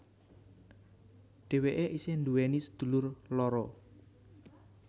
Dhewéke isih nduweni sedulur loro